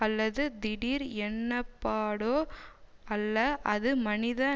அல்லது தீடீர் எண்ணப்பாடோ அல்ல அது மனித